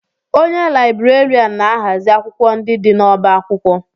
Onye Laịberịan na-ahazi akwụkwọ ndị dị n'ọbá akwụkwọ